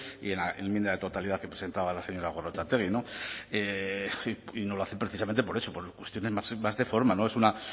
y en la enmienda de totalidad que presentaba la señora gorrotxategi y no lo hace precisamente por eso por cuestiones más de forma es una